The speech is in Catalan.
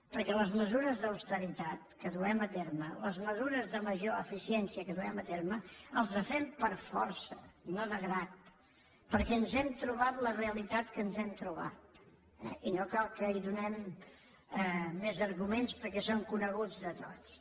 perquè les mesures d’austeritat que duem a terme les mesures de major eficiència que duem a terme les fem per força no de grat perquè ens hem trobat la realitat que ens hem trobat eh i no cal que hi donem més arguments perquè són coneguts de tots